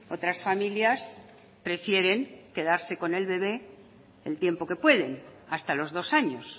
otras familias prefieren quedarse con el bebé el tiempo que pueden hasta los dos años